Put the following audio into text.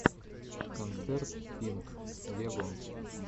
концерт пинк вево